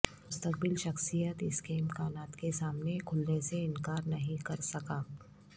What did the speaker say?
مستقبل شخصیت اس کے امکانات کے سامنے کھلنے سے انکار نہیں کر سکا